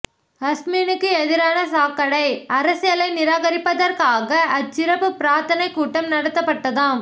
அஸ்மினுக்கு எதிரான சாக்கடை அரசியலை நிராகரிப்பதற்காக அச்சிறப்புப் பிரார்த்தனைக் கூட்டம் நடத்தப்பட்டதாம்